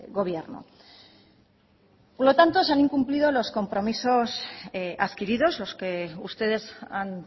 gobierno por lo tanto se han incumplido los compromisos adquiridos los que ustedes han